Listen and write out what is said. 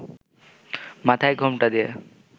মাথায় ঘোমটা দিয়ে